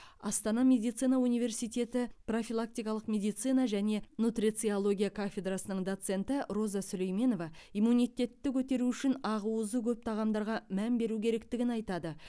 астана медицина университеті профилактикалық медицина және нутрициология кафедрасының доценті роза сүлейменова иммунитетті көтеру үшін ақуызы көп тағамдарға мән беру керектігін айтады